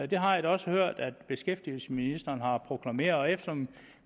det har jeg da også hørt at beskæftigelsesministeren har proklameret og eftersom